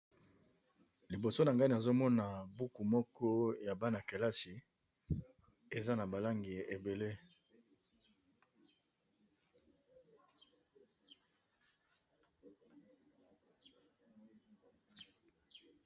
Liboso na ngai nazo mona buku moko ya bana-kelasi eza na ba langi ebele.